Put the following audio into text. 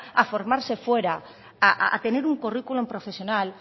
a formarse fuera a tener un currículum profesional